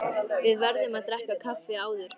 Við verðum að drekka kaffi áður.